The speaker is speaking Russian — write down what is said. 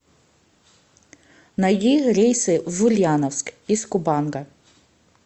найди рейсы в ульяновск из купанга